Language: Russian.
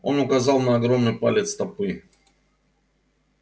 он указал на огромный палец стопы